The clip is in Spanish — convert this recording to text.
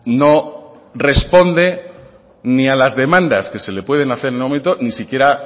no responde ni a las demandas que se le pueden hacer en el momento ni siquiera